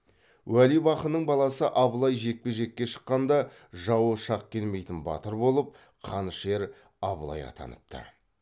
уәлибақының баласы абылай жекпе жекке шыққанда жауы шақ келмейтін батыр болып қанішер абылай атаныпты